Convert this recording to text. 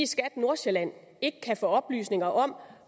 skat nordsjælland ikke kan få oplysninger om